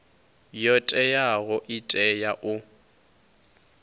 yo teaho i tea u